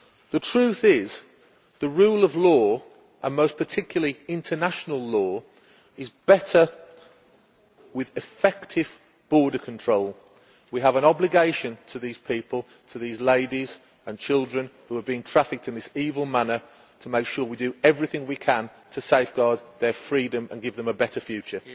The truth is, the rule of law and most particularly international law is better enforced with effective border control. We have an obligation to these people to these ladies and children who have been trafficked in this evil manner to make sure that we do everything we can to safeguard their freedom, and give them a better future.